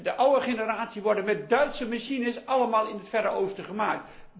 De oude generaties worden met Duitse machines allemaal in het Verre Oosten gemaakt.